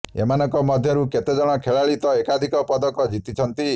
ଏମାନଙ୍କ ମଧ୍ୟରୁ କେତେଜଣ ଖେଳାଳି ତ ଏକାଧିକ ପଦକ ଜିତିଛନ୍ତି